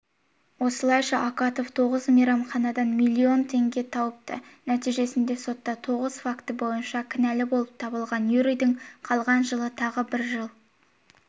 осылайша акатов тоғыз мейрамханадан млн теңге тауыпты нәтижесінде сотта тоғыз факті бойынша кінәлі болып табылған юрийдің қалған жылына тағы бір жыл